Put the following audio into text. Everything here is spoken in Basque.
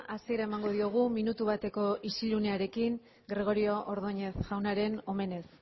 hasiera emango diogu minutu bateko isilunearekin gregorio ordóñez jaunaren omenez